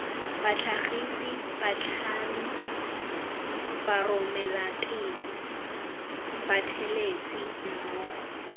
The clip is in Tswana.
batlhagisi batlhami baromelateng bathelesi mmogo